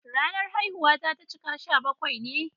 Ranar haihuwata ta cika sha bakwai ne.